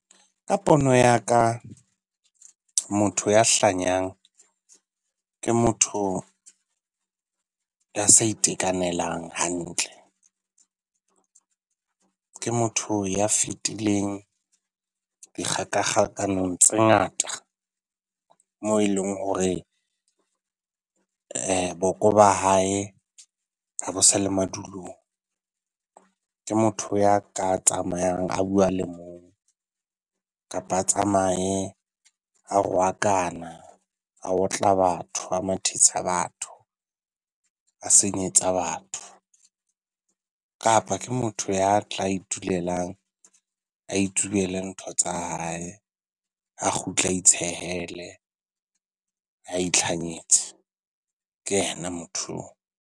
Ka pono ya ka motho ya hlanyanag ke motho ya sa itekanelang hantle. Ke motho ya fetileng dikgakakgakanong tse ngata mo eleng hore boko ba hae ha bo sa le madulong. Ke motho ya ka tsamayang a bua a le mong kapa a tsamaye a rwakana, a otla batho, a batho, a senyetsa batho. Kapa ke motho ya tla itulelang a itsubele ntho tsa hae a kgutle a itshehelle a itlhanyetse. Ke yena motho oo.